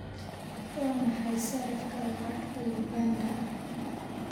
Waa maxay sarifka lacagta Uganda?